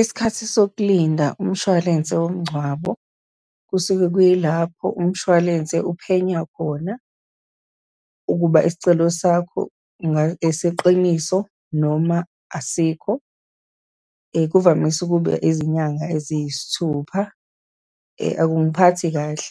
Isikhathi sokulinda umshwalense womngcwabo, kusuke kuyilapho umshwalense uphenya khona ukuba isicelo sakho ngeqiniso, noma asikho, kuvamise ukuba izinyanga eziyisithupha. Akungiphathi kahle